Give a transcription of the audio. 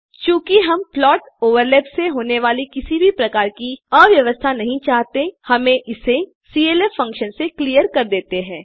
चूँकि हम plot overlap से होने वाली किसी भी प्रकार की अव्यय्वस्था नहीं चाहते हम इसे clf से क्लिअर कर देते हैं